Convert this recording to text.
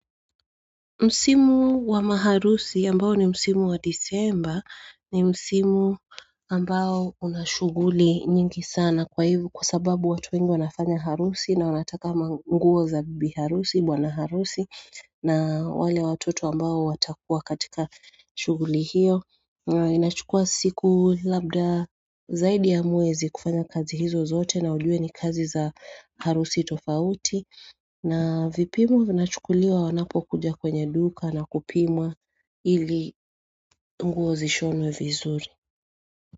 Msimu wa maharusi ambao ni msimu wa disemba ni msimu ambao unashuguli nyingi sana kwa hivo kwa sababu watu wengi wanafanya harusi na wanataka manguo za bibi harusi bwana harusi na wale watoto ambao watakuwa katika shuguli hiyo inachukua siku labda zaidi ya mwezi kufanya kazi hizo zote na ujue ni kazi za harusi tofauti na vipimwa vina chukuliwa wanapo kuja kwenye duka na kupimwa ili nguo zishonwe vizuri.